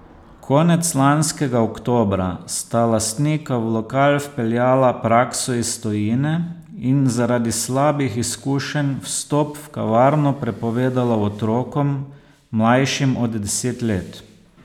Konec lanskega oktobra sta lastnika v lokal vpeljala prakso iz tujine in zaradi slabih izkušenj vstop v kavarno prepovedala otrokom, mlajšim od deset let.